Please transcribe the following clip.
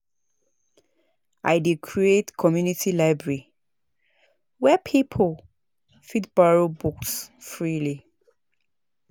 I dey create community library where people fit borrow books freely.